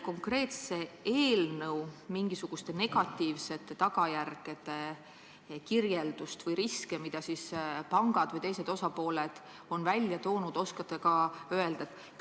Kas te oskate kirjeldada selle eelnõu negatiivseid tagajärgi või riske, mida pangad või teised osapooled on välja toonud?